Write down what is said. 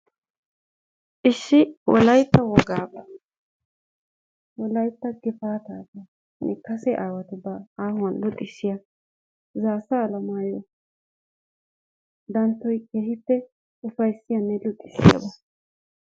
Issi wolaytta wogaaba, wolaytta gifaatabanne kase aawatubba aahuwan luxissiya zaassa alamayo danttoy keehippe ufayssiyanne luxissiyaaba.